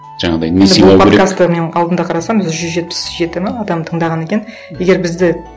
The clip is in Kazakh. жаңағындай подкастты мен алдында қарасам жүз жетпіс жеті ме адам тыңдаған екен егер бізді